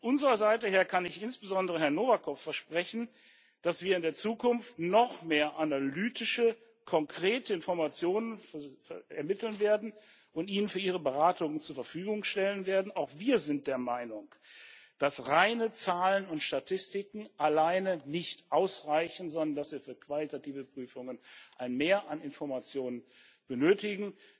Von unserer Seite her kann ich insbesondere Herrn Novakov versprechen, dass wir in der Zukunft noch mehr analytische konkrete Informationen ermitteln werden und Ihnen für Ihre Beratungen zur Verfügung stellen werden. Auch wir sind der Meinung, dass reine Zahlen und Statistiken alleine nicht ausreichen, sondern dass wir für qualitative Prüfungen ein Mehr an Informationen benötigen.